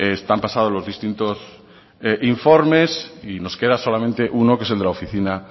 están pasados los distintos informes y nos queda solamente uno que es de la oficina